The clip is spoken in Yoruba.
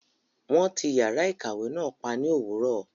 Wọn tí yàrá ìkàwé náà pa ní òwúrọ̀.